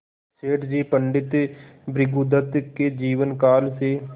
सेठ जी पंडित भृगुदत्त के जीवन काल से